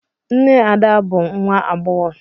Nne Ada bụ but nwa agbọghọ.